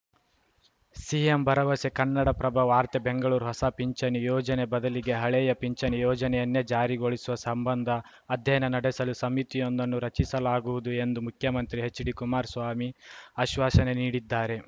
CM ಭರವಸೆ ಕನ್ನಡಪ್ರಭ ವಾರ್ತೆ ಬೆಂಗಳೂರು ಹೊಸ ಪಿಂಚಣಿ ಯೋಜನೆ ಬದಲಿಗೆ ಹಳೆಯ ಪಿಂಚಣಿ ಯೋಜನೆಯನ್ನೇ ಜಾರಿಗೊಳಿಸುವ ಸಂಬಂಧ ಅಧ್ಯಯನ ನಡೆಸಲು ಸಮಿತಿಯೊಂದನ್ನು ರಚಿಸಲಾಗುವುದು ಎಂದು ಮುಖ್ಯಮಂತ್ರಿ ಎಚ್‌ಡಿಕುಮಾರಸ್ವಾಮಿ ಆಶ್ವಾಸನೆ ನೀಡಿದ್ದಾರೆ